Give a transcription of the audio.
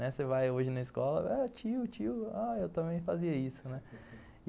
Você vai hoje na escola, ah, tio, tio, ah, eu também fazia isso, né?